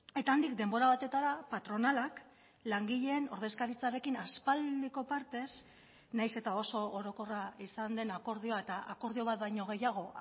eta handik denbora batetara patronalak langileen ordezkaritzarekin aspaldiko partez nahiz eta oso orokorra izan den akordioa eta akordio bat baino gehiago